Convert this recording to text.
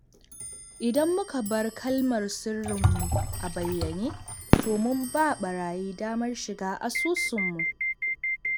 Idan muka bar kalmar sirrinmu a bayyane, to mun ba barayi damar shiga asusunmu.